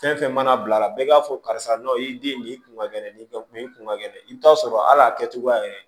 Fɛn fɛn mana bila bɛɛ b'a fɔ karisa n'a y'i den nin ye i kun ka gɛlɛn nin ka kun ye i kun ka gɛlɛn i bɛ taa sɔrɔ hali a kɛcogoya yɛrɛ